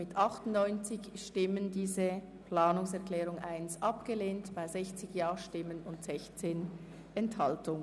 Sie haben diese Planungserklärung abgelehnt mit 30 Ja- zu 98 Nein-Stimmen bei 16 Enthaltungen.